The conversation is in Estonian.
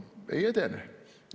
No ei edene.